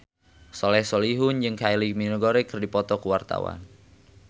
Soleh Solihun jeung Kylie Minogue keur dipoto ku wartawan